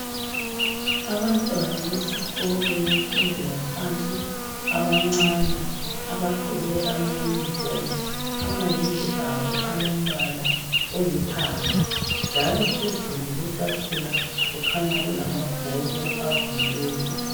Abantwana besikolo yemfundo yaphansi abancane, abagqoke ama yunifomu ,amayembe abo alombala olithanga njalo phezulu kwetafula kukhanya kulamabhuku avuliweyo.